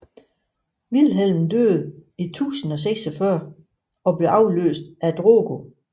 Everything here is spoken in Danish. Vilhelm døde i 1046 og blev afløst af Drogo